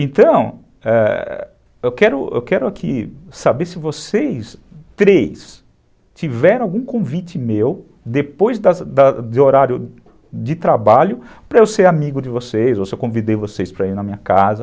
Então, ãh, eu quero aqui saber se vocês três, tiveram algum convite meu, depois do horário de trabalho, para eu ser amigo de vocês, ou se eu convidei vocês para ir na minha casa.